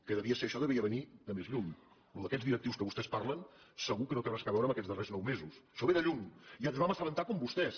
que això devia venir de més lluny el tema dels directius de què vostès parlen segur que no té res a veure amb aquests darrers nou mesos això ve de lluny i ens en vam as·sabentar com vostès